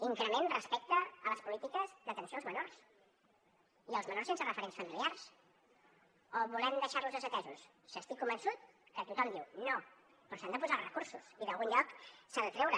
increment respecte a les polítiques d’atenció als menors i als menors sense referents familiars o volem deixar los desatesos si estic convençut que tothom diu no però s’hi han de posar els recursos i d’algun lloc s’han de treure